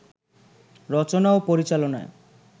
রচনা ও পরিচালনায়